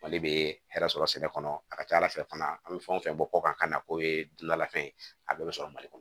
Mali bɛ hɛrɛ sɔrɔ sɛnɛ kɔnɔ a ka ca ala fɛ fana an bɛ fɛn o fɛn bɔ kɔkan ka na k'o ye dunanlafɛn ye a bɛɛ bɛ sɔrɔ mali kɔnɔ